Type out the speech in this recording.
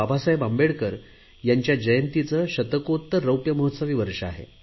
बाबासाहेब आंबेडकर यांच्या जयंतीचे शतकोत्तर रौप्यमहोत्सवी वर्ष आहे